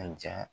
A ja